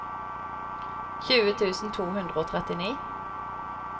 tjue tusen to hundre og trettini